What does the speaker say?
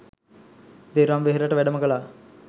දෙව්රම් වෙහෙරට වැඩම කළා